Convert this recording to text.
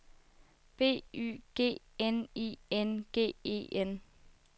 B Y G N I N G E N